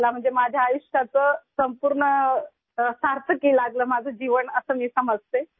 مطلب، میری زندگی مکمل طور پر بامعنی ہو گئی ہے ، ایسا میں مانتی ہوں